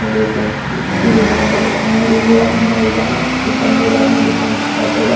ನೋಡಿ ಫ್ರೆಂಡ್ಸ್ ಇಸ್ತಿರಿ ಮಾಡೋ ಅಂಗಡಿ ಇದೆ ಅಣ್ಣ ಇದಾನೆ ಎಷ್ಟು ಚೆಂದ ಇದೆ ನೋಡಿ ಫ್ರೆಂಡ್ಸ್ ಬಟ್ಟೆಗಳು .